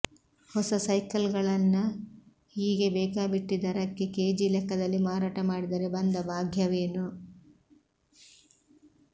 ಹೊಸ ಸೈಕಲ್ಗಳನ್ನ ಹೀಗೆ ಬೇಕಾಬಿಟ್ಟಿ ಧರಕ್ಕೆ ಕೆಜಿ ಲೆಕ್ಕದಲ್ಲಿ ಮಾರಾಟ ಮಾಡಿದರೆ ಬಂದ ಭಾಗ್ಯವೇನು